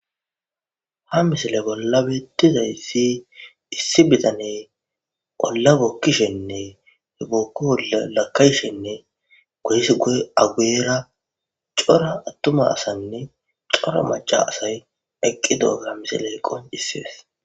ha misile bolla beettizayssi issi bitane olla bokkishenne he bookko olla lakayshenne gohis goy aweera cora attuma asanne cora maca asay eqqi doogaa misiley qon issibes